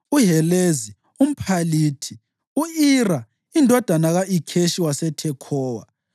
uHelezi umPhalithi, u-Ira indodana ka-Ikheshi waseThekhowa,